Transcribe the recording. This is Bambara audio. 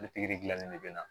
Ni pikiri gilannen de bɛ na